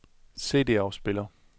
CD-afspiller